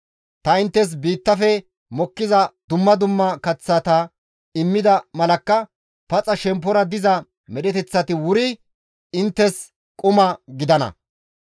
Ta inttes biittafe mokkiza dumma dumma kaththata immida malakka shemppora paxa diza medheteththati wuri inttes quma gidana.